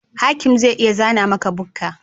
Hakim zai iya zana maka bukka